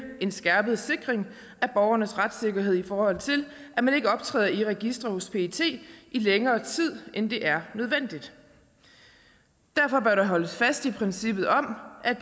en skærpet sikring af borgernes retssikkerhed i forhold til at man ikke optræder i registre hos pet i længere tid end det er nødvendigt derfor bør der holdes fast i princippet om at